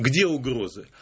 где угрозы